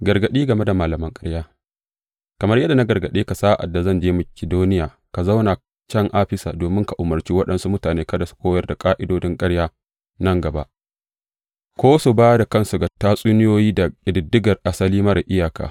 Gargaɗi game da malaman ƙarya Kamar yadda na gargaɗe ka sa’ad da zan je Makidoniya, ka zauna can Afisa domin ka umarci waɗansu mutane kada su koyar da ƙa’idodin ƙarya nan gaba ko su ba da kansu ga tatsuniyoyi da ƙididdigar asali marar iyaka.